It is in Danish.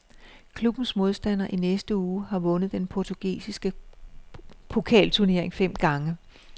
Klubbens modstander i næste uge har vundet den portugisiske pokalturnering fem gange.